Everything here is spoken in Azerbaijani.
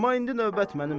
Amma indi növbət mənimdir.